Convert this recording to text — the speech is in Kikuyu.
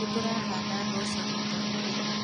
Nĩtũrahanda mboco rita rĩrĩ.